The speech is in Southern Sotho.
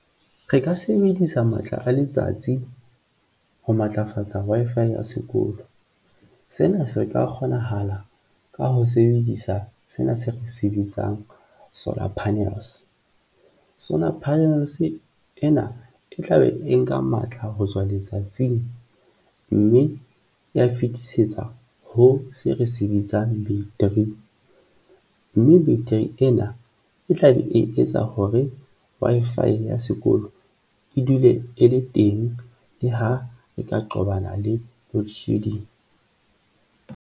Re ka sebedisa matla a letsatsi ho matlafatsa Wi-Fi ya sekolo. Sena se ka kgonahala ka ho sebedisa sena se re se bitsang solar panels sona, mme provenance ena e tla be e nka matla ho tswa letsatsing mme e ya fetisetsa ho se re se bitsang battery, mme battery ena e tla be e etsa hore Wi-Fi ya sekolo e dule e le teng le ha e ka qobana le loedshedding.